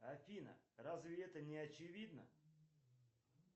афина разве это не очевидно